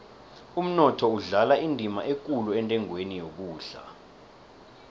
umnotho udlala indima ekulu entengweni yokudla